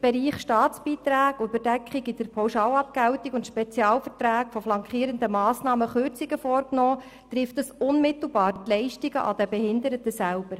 Bereichen Staatsbeiträge, Überdeckungen im System der Pauschalabgeltung sowie bei den Spezialverträgen der flankierenden Massnahmen Kürzungen vorgenommen, trifft das unmittelbar die Leistungen an den Behinderten selber.